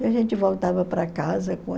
E a gente voltava para casa